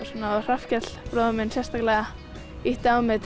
Hrafnkell bróðir minn ýtti á mig